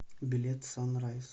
билет сан райз